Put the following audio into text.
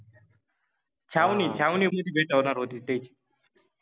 छावनि छावनि मधि भेट होनार होति त्यांचि.